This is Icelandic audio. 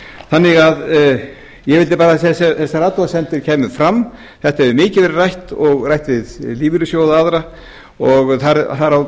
þannig að ég vildi bara að þessar athugasemdir kæmu fram þetta hefur mikið verið rætt og rætt við lífeyrissjóði aðra og þar á